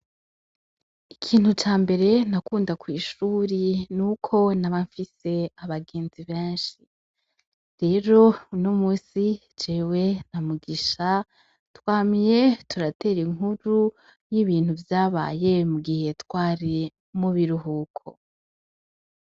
Ikintu ca mbere nakunda kw'ishuri n' uko naba mfise abagenzi benshi, rero uno musi jewe na mugisha twamye turatera inkuru y'ibintu vyabaye mu gihe twari mubiruhuko.